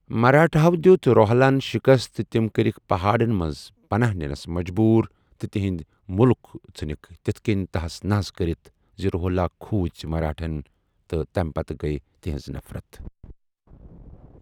مراٹھاہو دِیوٗت روہِلاہن شکست تہ تِم کرِکھ پہاڈن منز پناہ نِنس مجبوٗر تہ تِہٗند مٗلک ژھنٗکھ تِتھہ کنی تحس نحس کرِتھ زِ روہلا کھوٗژِ مراٹھاہن تہ تمہِ پتہ گیکھ تِہنز نفرت۔